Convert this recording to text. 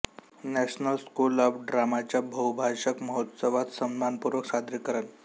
national School of ड्रामाच्या बहुभाषक महोत्सवात सन्मानपूर्वक सादरीकरण